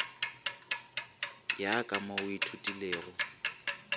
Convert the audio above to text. ya ka mo o ithutilego